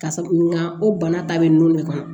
Ka sabu nga o bana ta bɛ ninnu de kan